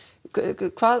hvað